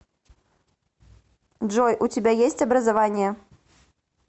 джой у тебя есть образование